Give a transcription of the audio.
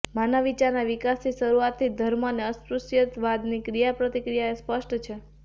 માનવ વિચારના વિકાસની શરૂઆતથી જ ધર્મ અને અસ્પૃશ્યવાદની ક્રિયાપ્રતિક્રિયા એ સ્પષ્ટ છે